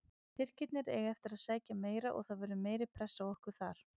Tyrkirnir eiga eftir að sækja meira og það verður meiri pressa á okkur þar.